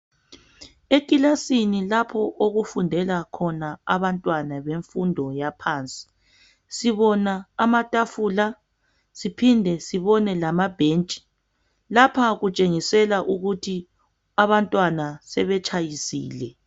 Ekilasini lapho okufundela khona abantwana bemfundo yaphansi. Sibona amatafula siphinde sibone lamabhentshi. Lapha okutshengisela ukuthi abantwana sebetshayisile.